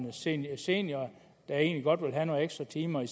en senior senior der egentlig godt vil have nogle ekstra timer